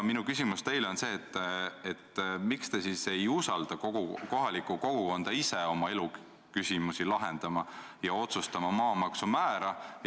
Miks te siis ei usalda kohalikku kogukonda, et see ise oma elu küsimusi lahendaks ja otsustaks maamaksu määra?